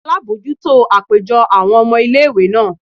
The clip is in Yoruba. alabọjuto apejọ awọn ọmọ ìlé-ìwé naa